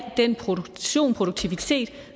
den produktion og produktivitet